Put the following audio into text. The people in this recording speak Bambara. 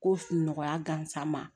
Ko nɔgɔya gansan ma